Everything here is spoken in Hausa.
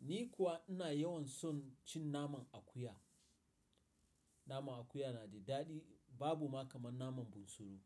Ni kuwa ina yawan son cin naman akuya. Naman akuya na da daɗi, babu ma kamar naman bunsuru.